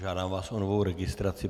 Žádám vás o novou registraci.